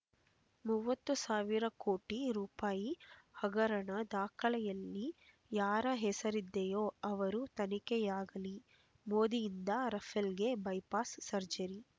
ಮೂವತ್ತು ಸಾವಿರ ಕೋಟಿ ರೂ ಹಗರಣ ದಾಖಲೆಯಲ್ಲಿ ಯಾರ ಹೆಸರಿದೆಯೋ ಅವರ ತನಿಖೆಯಾಗಲಿ ಮೋದಿಯಿಂದ ರಫೇಲ್‌ಗೆ ಬೈಪಾಸ್ ಸರ್ಜರಿ